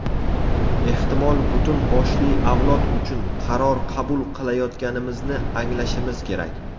ehtimol butun boshli avlod uchun qaror qabul qilayotganimizni anglashimiz kerak.